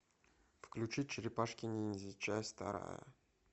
включи черепашки ниндзя часть вторая